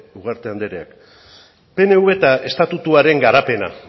ugarte andereak pnv eta estatutuaren garapena